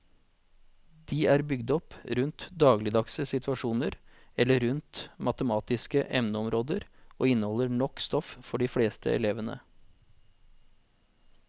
De er bygd opp rundt dagligdagse situasjoner eller rundt matematiske emneområder og inneholder nok stoff for de fleste elevene.